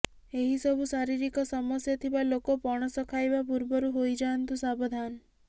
ଏହି ସବୁ ଶାରୀରିକ ସମସ୍ୟା ଥିବା ଲୋକ ପଣସ ଖାଇବା ପୂର୍ବରୁ ହୋଇ ଯାଆନ୍ତୁ ସାବଧାନ